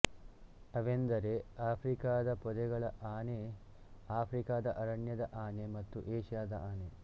ಅವೆಂದರೆ ಆಫ್ರಿಕದ ಪೊದೆಗಳ ಆನೆ ಆಫ್ರಿಕದ ಅರಣ್ಯದ ಆನೆ ಮತ್ತು ಏಷ್ಯಾದ ಆನೆ